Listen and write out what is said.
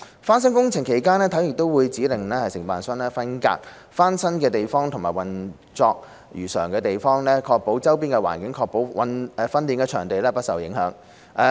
翻新工程期間，體院會指令承建商，分隔翻新的地方及運作如常的地方，保護周邊的環境，確保訓練場地不受影響。